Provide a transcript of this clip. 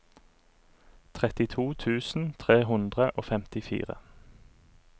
trettito tusen tre hundre og femtifire